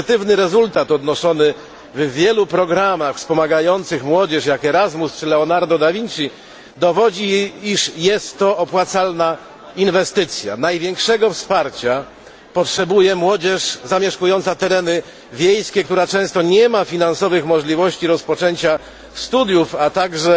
Pozytywny rezultat odnoszony w wielu programach wspomagających młodzież, jak Erasmus czy Leonardo da Vinci, dowodzi, iż jest to opłacalna inwestycja. Największego wsparcia potrzebuje młodzież zamieszkująca tereny wiejskie, która często nie ma finansowych możliwości rozpoczęcia studiów, a także